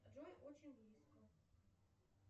джой очень близко